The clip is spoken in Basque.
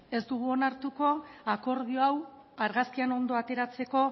ez dugu onartuko akordio hau argazkian ondo ateratzeko